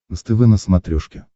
нств на смотрешке